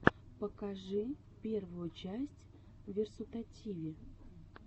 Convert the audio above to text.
покажи первую часть версутативи